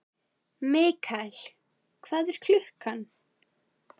Mikael, hvað er klukkan?